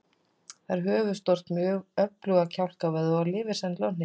Það er höfuðstórt með öfluga kjálkavöðva og lifir sennilega á hnetum.